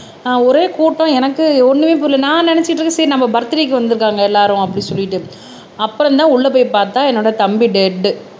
அஹ் ஒரே கூட்டம் எனக்கு ஒண்ணுமே புரியல நான் நினைச்சுட்டு இருக்கேன் சரி நம்ம பர்த்டேக்கு வந்திருக்காங்க எல்லாரும் அப்படின்னு சொல்லிட்டு அப்புறம்தான் உள்ள போய் பாத்தா என்னோட தம்பி டேட்